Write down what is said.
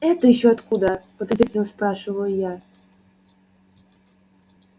это ещё откуда подозрительно спрашиваю я